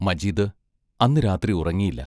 മജീദ് അന്നു രാത്രി ഉറങ്ങിയില്ല.